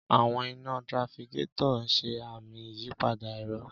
Àwọn iná trafficator ń ṣe àmì ìyípadà èrò.